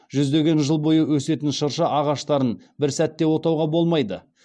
жүздеген жыл бойы өсетін шырша ағаштарын бір сәтте отауға болмайды